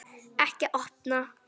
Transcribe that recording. Ekki opna